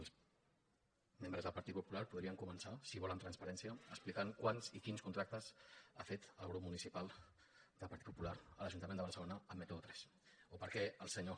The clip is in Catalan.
els membres del partit popular podrien començar si volen transparència explicant quants i quins contractes ha fet el grup municipal del partit popular a l’ajuntament de barcelona amb método tres o per què el senyor